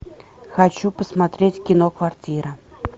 хочу посмотреть кино квартира